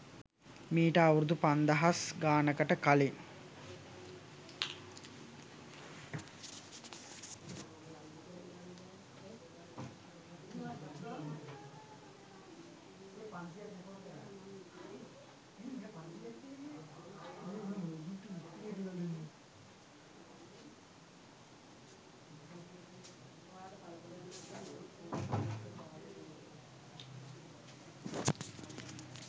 මීට අවුරුදු පන්දහස් ගානකට කලින්